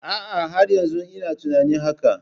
A'a, har yanzu ina tunanin hakan.